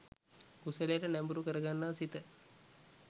කුසලයට නැඹුරු කරගන්නා සිත